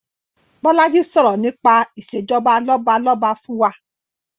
Bolaji sọ̀rọ̀ nípa Ìṣèjọba lọ́balọ́ba fún wa